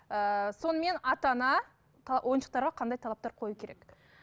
ыыы сонымен ата ана ойыншықтарға қандай талаптар қою керек